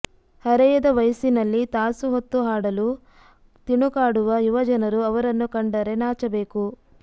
ಹರೆಯದ ವಯಸ್ಸಿನಲ್ಲಿ ತಾಸು ಹೊತ್ತು ಹಾಡಲು ತಿಣುಕಾಡುವ ಯುವಜನರು ಅವರನ್ನು ಕಂಡರೆ ನಾಚಬೇಕು